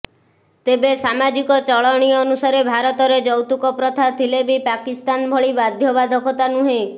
ତେବେ ସାମାଜିକ ଚଳଣି ଅନୁସାରେ ଭାରତରେ ଯୌତୁକ ପ୍ରଥା ଥିଲେବି ପାକିସ୍ତାନ ଭଳି ବାଧ୍ୟବାଧକତା ନୁହେଁ